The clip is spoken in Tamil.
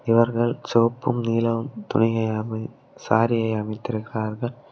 இவர்கள் செவப்பும் நீள துணையை சாரி அமைதிருக்கார்கள்.